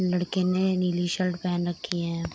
लड़के ने नीली शर्ट पहन रखी है |